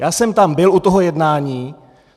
Já jsem tam byl u toho jednání.